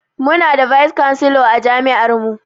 Mu na da 'vice chancellor'a jami'ar mu